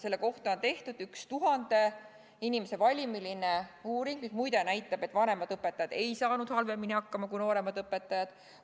Selle kohta on tehtud üks uuring, mille valim oli tuhat inimest ja mis muide näitas, et vanemad õpetajad ei saanud halvemini hakkama kui nooremad õpetajad.